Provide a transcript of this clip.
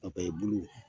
i bulu